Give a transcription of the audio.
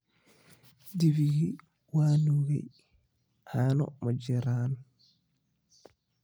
Dibigi waa nuugay, caano ma jiraan.